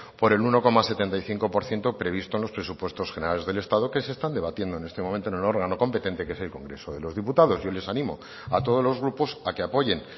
por el uno coma setenta y cinco por ciento previsto en los presupuestos generales del estado que se están debatiendo en este momento en el órgano competente que es el congreso de los diputados yo les animo a todos los grupos a que apoyen